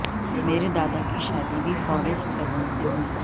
میرے دادا کی شادی بھی فرسٹ کزن سے ہوئی